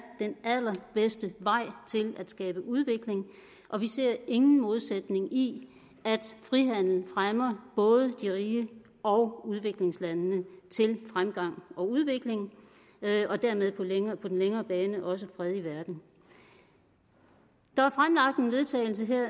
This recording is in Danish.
den allerbedste vej til at skabe udvikling og vi ser ingen modsætning i at frihandel fremmer både de rige og udviklingslandene til fremgang og udvikling og dermed på den længere bane også fred i verden der